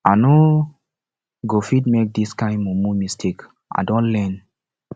i no go fit make dis kain mumu mistake i don learn